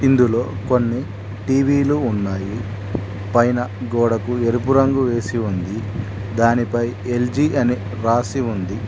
ఇందులో కొన్ని టీ_వీ లు ఉన్నాయి పైన గోడకు ఎరుపు రంగు వేసి ఉంది దానిపై ఎల్_జి అని రాసి ఉంది.